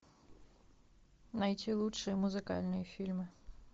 найти лучшие музыкальные фильмы